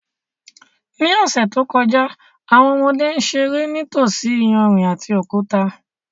Ní ọ̀sẹ̀ tó kọjá, àwọn ọmọdé ń ṣeré nítòsí iyanrìn àti òkúta